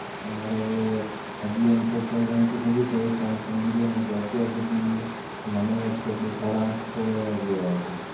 અમારે હજી આમ તો કોઈ ગણતરી નથીં થઇ પણ સમજી લ્યોને કે અત્યાર સુધી મને યાદ છે એટલું સાડા આંઠ તો વયા ગયા છે